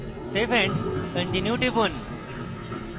save and continue টিপুন